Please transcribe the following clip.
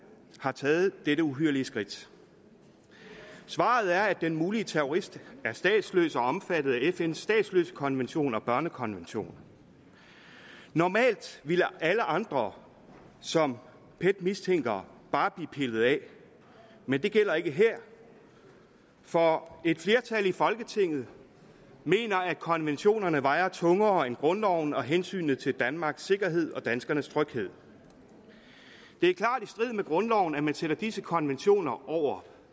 har taget dette uhyrlige skridt svaret er at den mulige terrorist er statsløs og omfattet af fns statsløsekonvention og børnekonvention normalt ville alle andre som pet mistænker bare blive pillet af men det gælder ikke her for et flertal i folketinget mener at konventionerne vejer tungere end grundloven og hensynet til danmarks sikkerhed og danskernes tryghed det er klart i strid med grundloven at man sætter disse konventioner over